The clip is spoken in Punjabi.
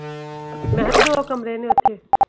ਮੈਂ ਕਿਹਾ ਦੋ ਕਮਰੇ ਨੇ ਓਥੇ।